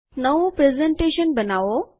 નવી પ્રસ્તુતિકરણ બનાવો